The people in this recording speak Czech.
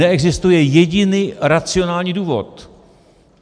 Neexistuje jediný racionální důvod.